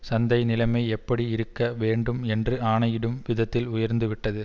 சந்தை நிலைமை எப்படி இருக்க வேண்டும் என்று ஆணையிடும் விதத்தில் உயர்ந்து விட்டது